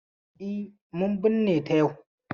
E, mun binne ta yau.